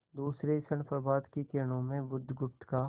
दूसरे ही क्षण प्रभात की किरणों में बुधगुप्त का